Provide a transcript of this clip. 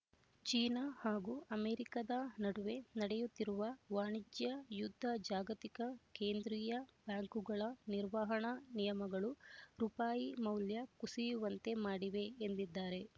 China ಹಾಗೂ ಅಮೆರಿಕಾದ ನಡುವೆ ನಡೆಯುತ್ತಿರುವ ವಾಣಿಜ್ಯ ಯುದ್ಧ ಜಾಗತಿಕ ಕೇಂದ್ರೀಯ ಬ್ಯಾಂಕುಗಳ ನಿರ್ವಹಣಾ ನಿಯಮಗಳು ರೂಪಾಯಿ ಮೌಲ್ಯ ಕುಸಿಯುವಂತೆ ಮಾಡಿವೆ ಎಂದಿದ್ದಾರೆ